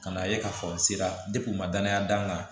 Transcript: Ka na ye k'a fɔ n sera n ma danaya d'an kan